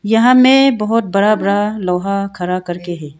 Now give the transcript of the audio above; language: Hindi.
यहां में बहोत बड़ा बड़ा लोहा खड़ा करके है।